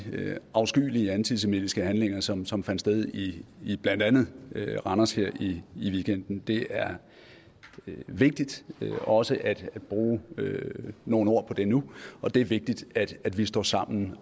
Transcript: afskyelige antisemitiske handlinger som som fandt sted i i blandt andet randers her i weekenden det er vigtigt også at bruge nogle ord på det nu og det er vigtigt at vi står sammen